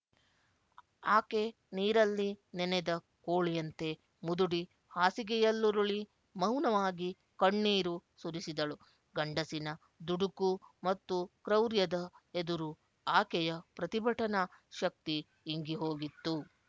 ಆಕೆ ನೀರಲ್ಲಿ ನೆನೆದ ಕೋಳಿಯಂತೆ ಮುದುಡಿ ಹಾಸಿಗೆಯಲ್ಲುರುಳಿ ಮೌನವಾಗಿ ಕಣ್ಣೀರು ಸುರಿಸಿದಳು ಗಂಡಸಿನ ದುಡುಕು ಮತ್ತು ಕ್ರೌರ್ಯದ ಎದುರು ಆಕೆಯ ಪ್ರತಿಭಟನಾ ಶಕ್ತಿ ಇಂಗಿ ಹೋಗಿತ್ತು